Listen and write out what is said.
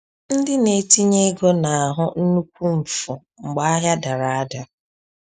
Ndị na-etinye ego na-ahụ nnukwu mfu mgbe ahịa dara ada.